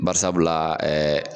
Bari sabu la ɛɛ